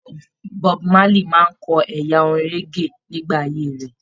Bob Marley máa n kọ ẹyà orin reggae nígbà ayé rẹ.